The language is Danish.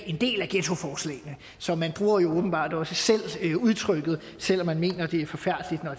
en del af ghettoforslagene så man bruger jo åbenbart også selv udtrykket selv om man mener det er forfærdeligt når